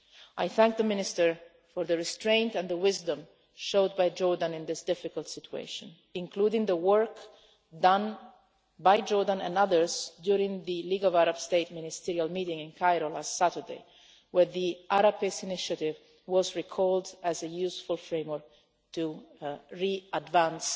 I thank the Minister for the restraint and the wisdom shown by Jordan in this difficult situation, including the work done by Jordan and others during the League of Arab States Ministerial Meeting in Cairo last Saturday, where the Arab Peace Initiative was recalled as a useful framework to re-advance